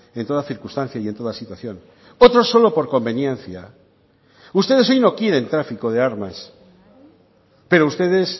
en toda circunstancia y en toda situación otros solo por conveniencia ustedes hoy no quieren tráfico de armas pero ustedes